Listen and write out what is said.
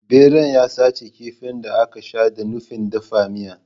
Beran ya sace kifin da aka sha da nufin dafa miya.